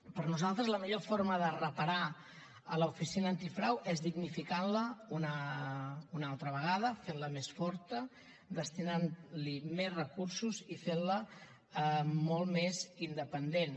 per nosaltres la millor forma de reparar l’oficina antifrau és dignificant la una altra vegada fent la més forta destinant hi més recursos i fent la molt més independent